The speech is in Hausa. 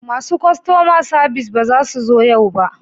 Masu kastoma sabis ba za su zo yau ba